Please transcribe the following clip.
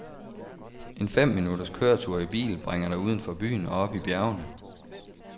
En fem minutters køretur i bil bringer dig udenfor byen og op i bjergene.